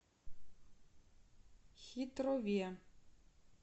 хитрове